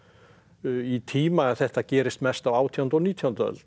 í tíma að þetta gerist mest á átjándu og nítjándu öld